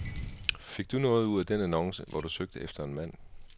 Fik du noget ud af den annonce, hvor du søgte efter en mand?